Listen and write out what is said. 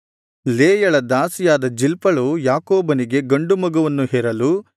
ಲೇಯಳ ದಾಸಿಯಾದ ಜಿಲ್ಪಳು ಯಾಕೋಬನಿಗೆ ಗಂಡು ಮಗುವನ್ನು ಹೆರಲು